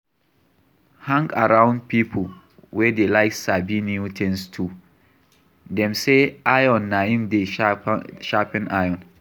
Hang around pipo wey dey like sabi new things too, dem sey iron na im dey sharpen iron